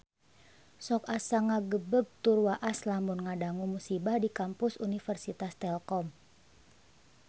Sok asa ngagebeg tur waas lamun ngadangu musibah di Kampus Universitas Telkom